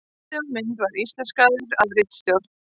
Texti á mynd var íslenskaður af ritstjórn.